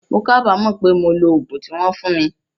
Mo kábàámọ̀ pé mo lo ogún tí wón fún mi